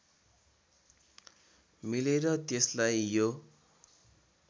मिलेर त्यसलाई यो